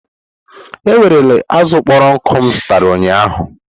Ewerela azụ kpọrọ nkụ m zụtara ụnyaahụ!